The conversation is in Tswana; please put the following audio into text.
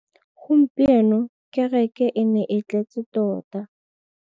Gompieno kêrêkê e ne e tletse tota.